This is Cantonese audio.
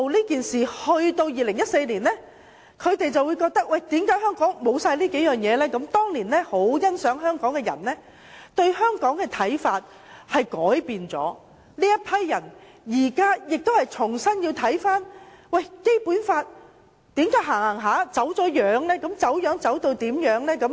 但是，到了2014年，中央卻發覺香港失去了這些優點，過往很欣賞香港的中央官員改變了對香港的看法，這批官員現正重新審視為何《基本法》的實踐會走了樣。